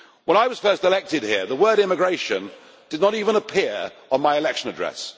When I was first elected here the word immigration did not even appear on my election address.